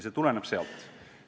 See tõus tuleneb sealt.